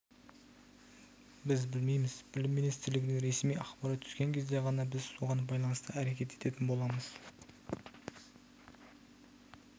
біз білмейміз білім министрлігіне ресми ақпарат түскен кезде ғана біз соған байланысты әрекет ететін боламыз